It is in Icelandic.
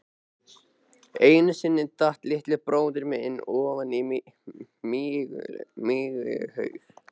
Einu sinni datt litli bróðir minn ofan í mykjuhaug.